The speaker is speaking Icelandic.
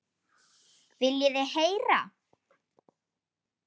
Viljið þið heyra?